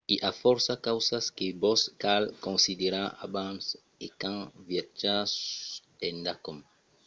i a fòrça causas que vos cal considerar abans e quand viatjatz endacòm